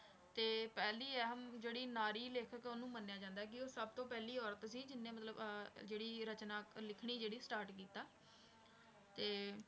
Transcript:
ਤੇ ਪਹਿਲੀ ਅਹਿਮ ਜਿਹੜੀ ਨਾਰੀ ਲੇਖਕ ਉਹਨੂੰ ਮੰਨਿਆ ਜਾਂਦਾ ਕਿ ਉਹ ਸਭ ਤੋਂ ਪਹਿਲੀ ਔਰਤ ਸੀ ਜਿਹਨੇ ਮਤਲਬ ਅਹ ਜਿਹੜੀ ਰਚਨਾ ਲਿਖਣੀ ਜਿਹੜੀ start ਕੀਤਾ ਤੇ